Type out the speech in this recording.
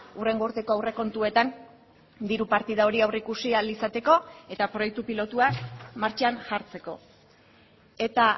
hurrengo urteko aurrekontuetan diru partida hori aurreikusi ahal izateko eta proiektu pilotua martxan jartzeko eta